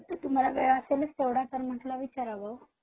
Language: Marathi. तुम्हाला वेळ असेलच तेवढा मग म्हंटल विचाराव.